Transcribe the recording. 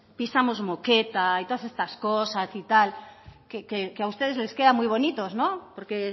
pisamos moqueta y todas estas cosas y tal que a ustedes les queda muy bonito no porque